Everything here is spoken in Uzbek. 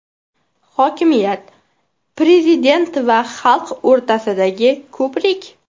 Hokimiyat prezident bilan xalq o‘rtasidagi ko‘prik.